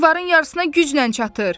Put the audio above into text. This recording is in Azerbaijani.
Divarın yarısına güclə çatır.